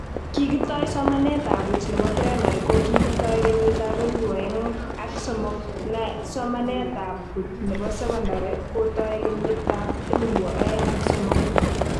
Kikitoi somanetab buuch nebo primary ko kikitoi kenyitab elebu oeng ak somok, na somanetab buuch nebo secondary kotoi kenyitab elebu oeng ak somok